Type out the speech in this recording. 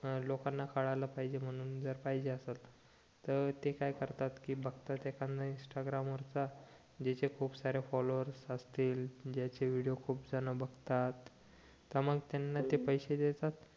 हं लोकांना कडलं पाहिजे म्हणून जर पाहिजे असेल त ते काय करता बघता एखादा इंस्टाग्राम वरचा ज्याचे खूप सारे फॉलोवर असतील ज्याचे व्हिडिओ खूप जण बुतात त मग त्यांना ते पैसे देतात